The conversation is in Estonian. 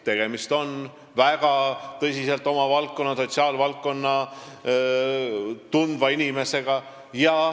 Tegemist on väga hästi oma valdkonda, sotsiaalvaldkonda tundva inimesega.